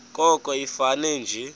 koko ifane nje